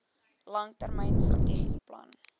langtermyn strategiese plan